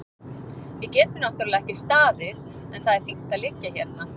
Við getum náttúrlega ekki staðið en það er fínt að liggja hérna.